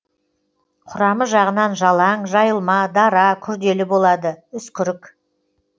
құрамы жағынан жалаң жайылма дара күрделі болады үскірік